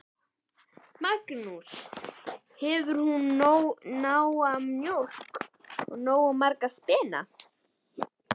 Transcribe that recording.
Magnús: Hefur hún nóga mjólk og nógu marga spena?